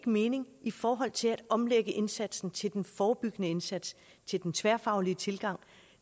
mening i forhold til at omlægge indsatsen til den forebyggende indsats til den tværfaglige tilgang